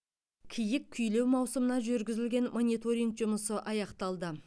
киік күйлеу маусымына жүргізілген мониторинг жұмысы аяқталды